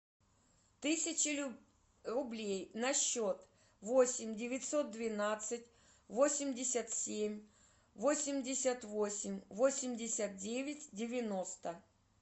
тысяча рублей на счет восемь девятьсот двенадцать восемьдесят семь восемьдесят восемь восемьдесят девять девяносто